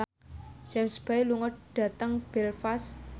James Bay lunga dhateng Belfast